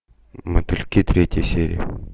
мотыльки третья серия